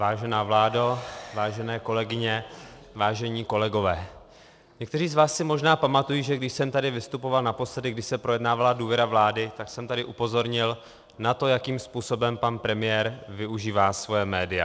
Vážená vládo, vážené kolegyně, vážení kolegové, někteří z vás si možná pamatují, že když jsem tady vystupoval naposledy, když se projednávala důvěra vlády, tak jsem tady upozornil na to, jakým způsobem pan premiér využívá svoje média.